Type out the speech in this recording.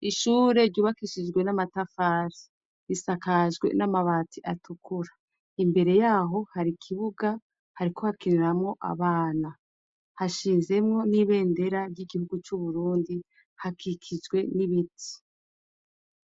Ishure ryubakishijwe n'amatafari. Risakajwe n'amabati atukura. Imbere yaho hari ikibuga hariko hakiniramwo abana. Hashinzemwo n'ibendera ry'igihugu c'Uburundi, hakikijwe n'ibiti.